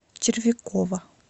червякова